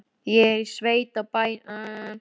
Ég er í sveit á bænum þarna,